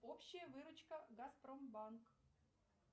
общая выручка газпромбанк